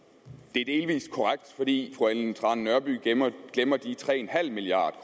det er delvis korrekt fordi fru ellen trane nørby glemmer de tre milliard